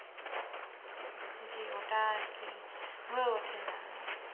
জি ওটা আরকি হয়ে ওঠেনা